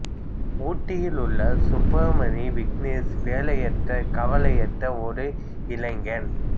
ஊட்டியில் உள்ள சுப்பிரமணி விக்னேஷ் வேலையற்ற கவலையற்ற ஒரு இளைஞன்